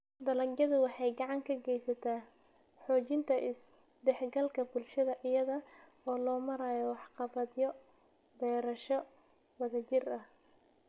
Dalagyadu waxay gacan ka geystaan ??xoojinta is-dhexgalka bulshada iyada oo loo marayo waxqabadyo beerasho wadajir ah.